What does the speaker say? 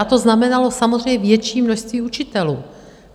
A to znamenalo samozřejmě větší množství učitelů.